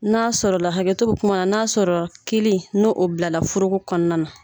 N'a sɔrɔ la hakɛto bɛ kuma na n'a sɔrɔ kelen n'o o bila la foroko kɔnɔna na.